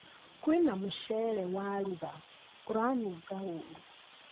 Kwĩna mũcere waruga ũranunga ũru